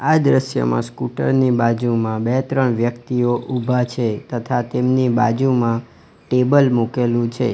આ દ્રશ્યમાં સ્કૂટર ની બાજુમાં બે ત્રણ વ્યક્તિઓ ઉભા છે તથા તેમની બાજુમાં ટેબલ મુકેલું છે.